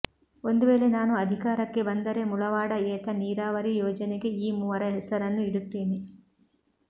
ಒಂದುವೇಳೆ ನಾನು ಅಧಿಕಾರಕ್ಕೆ ಬಂದರೆ ಮುಳವಾಡ ಏತ ನೀರಾವರಿ ಯೋಜನೆಗೆ ಈ ಮೂವರ ಹೆಸರನ್ನು ಇಡುತ್ತೇನೆ